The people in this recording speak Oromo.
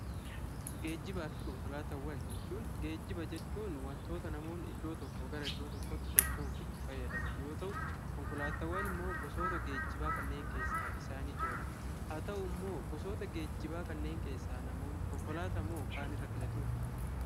Geejjibaa fi konkolaataawwan jechuun geejjiba jechuun wantoota namoonni iddoo tokkoo gara tokkootti socho'uuf itti fayyadaman yoo ta'u, konkolaataawwan immoo gosoota geejjibaa kanneen keessaa isaan ijoodha. Haa ta'u immoo gosoota geejjibaa kanneen keessaa namoonni konkolaataa moo kaan irra filatuu?